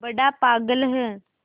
बड़ा पागल है